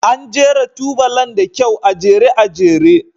An jera tubalan da kyau, a jere a jere.